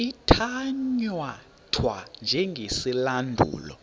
ithatya thwa njengesilandulo